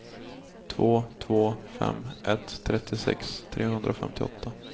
två två fem ett trettiosex trehundrafemtioåtta